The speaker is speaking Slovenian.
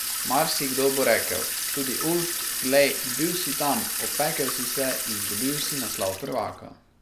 Marsikdo bo rekel, tudi Ulf, glej, bil si tam, opekel si se, izgubil si naslov prvaka ...